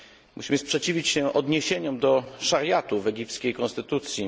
Musimy sprzeciwić się odniesieniom do szariatu w egipskiej konstytucji.